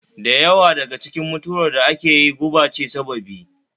Da yawa daga cikin mutuwar da ake yi guba ce sababi